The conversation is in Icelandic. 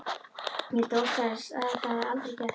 Ég vildi óska að þetta hefði aldrei gerst.